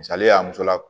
Misali ye a muso la